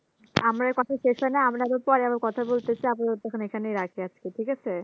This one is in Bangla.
আমাদের কথা শেষ হয়নি আমরা কিন্তু পরে আবারো কথা বলতে চাইবো তখন এখানেই রাখি আজকে ঠিক আছে